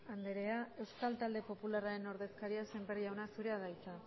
andrea euskal talde popularraren ordezkaria sémper jauna zurea da hitza